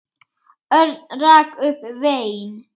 Örn rak upp vein.